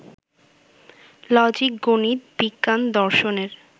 লজিক-গণিত-বিজ্ঞান-দর্শনের